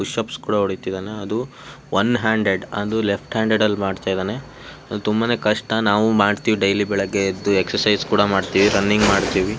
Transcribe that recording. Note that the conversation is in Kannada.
ಪುಶ್ ಅಪ್ಸ್ ಕೂಡ ಹೊಡೀತಿದ್ದಾನೆ ಒನ್ ಹ್ಯಾಂಡೆಡ್ ಅದು ಲೆಫ್ಟ್ ಹ್ಯಾಂಡೆಡ್ ಅಲ್ಲಿ ಮಾಡ್ತಾ ಇದ್ದಾನೆ. ಅದು ಕೂಡ ಕಷ್ಟ. ನಾವು ಮಾಡ್ತೇವೆ ಡೈಲಿ ಬೆಳಗೆ ಎದ್ದು ಎಕ್ಸರ್ಸೈಜ್ ಮಾಡ್ತೇವೆ ರನ್ನಿಂಗ್ ಮಾಡ್ತೇವೆ.